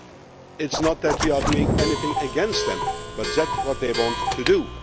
It is not that we are doing anything against them, but that is what they want to do.